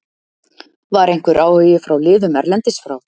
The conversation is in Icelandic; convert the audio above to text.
Var einhver áhugi frá liðum erlendis frá?